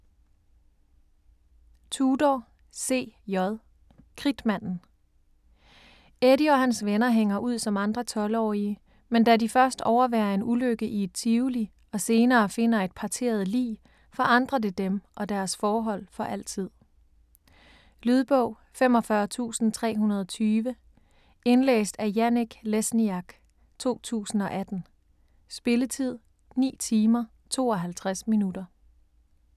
Tudor, C. J.: Kridtmanden Eddie og hans venner hænger ud som andre tolvårige, men da de først overværer en ulykke i et tivoli og senere finder et parteret lig, forandrer det dem og deres forhold for altid. Lydbog 45320 Indlæst af Janek Lesniak, 2018. Spilletid: 9 timer, 52 minutter.